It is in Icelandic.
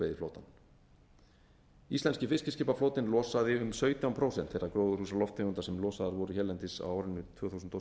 fiskveiðiflotann íslenski fiskiskipaflotinn losaði um sautján prósent þeirra gróðurhúsalofttegunda sem losaðar voru hérlendis á árinu tvö þúsund og